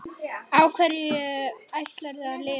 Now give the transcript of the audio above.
Á hverju ætlarðu að lifa?